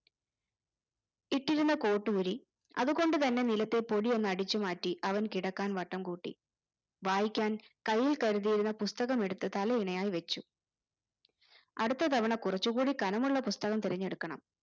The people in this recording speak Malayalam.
ഇട്ടിരുന്ന coat ഊരി അതു കൊണ്ടു തന്നെ നിലത്തെപൊടി ഒന്ന് അടിച്ചുമാറ്റി അവൻ കിടക്കാൻ വട്ടംകൂട്ടി വായിക്കാൻ കൈയിൽ കരുതിയിരുന്ന പുസ്തകം എടുത്ത് തലയിണയായി വെച്ചു അടുത്ത തവണ കുറച്ചുകൂടി കനമുള്ള പുസ്തകം തെരഞ്ഞെടുക്കണം